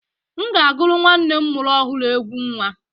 M ga-agụrụ nnwa m mụrụ ọhụrụ egwú nnwa.